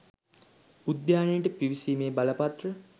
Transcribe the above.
උද්‍යානයට පිවිසීමේ බලපත්‍ර